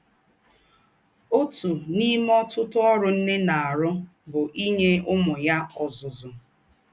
Ótú n’ìmé ọ̀tụ̀tụ̀ ọ́rụ̀ nnè na - àrụ̀ bụ̀ ínye ǔmū yà ọ́zụ́zụ́.